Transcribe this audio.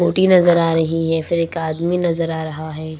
OT नजर आ रही है फिर एक आदमी नजर आ रहा है।